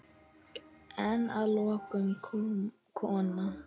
En að lokum kom kona.